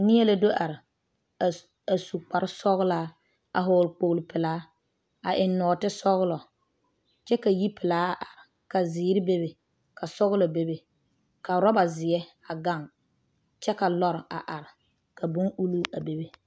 Neɛ la do are a su kpare sɔglaa a vɔgeli kpol pɛlaa a eŋ nɔɔte sɔglɔ kyɛ ka yi pɛlaa a are ka zeɛre bebe ka sɔglɔ bebe ka ɔraba zeɛ a gaŋ kyɛ ka lɔre a are ka bon ulluu a bebe